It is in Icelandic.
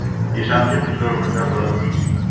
Í samkeppnislögum er fjallað um auglýsingar.